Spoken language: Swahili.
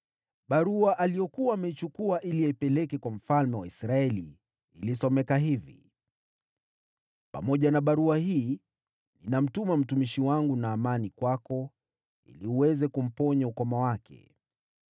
Barua aliyopelekea mfalme wa Israeli iliandikwa hivi: “Pamoja na barua hii ninamtuma mtumishi wangu, Naamani, kwako ili uweze kumponya ukoma wake.”